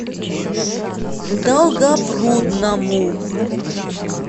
долгопрудному